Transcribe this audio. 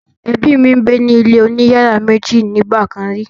Ẹbí mi gbé ní ilé oní yàrá méjì nígbà kàn rí.